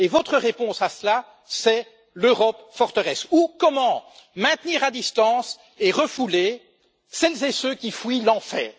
Et votre réponse, c'est l'Europe forteresse, ou comment maintenir à distance et refouler celles et ceux qui fuient l'enfer.